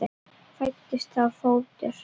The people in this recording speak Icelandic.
Fæddist þá fótur.